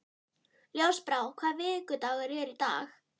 Ljósbrá, hvaða vikudagur er í dag?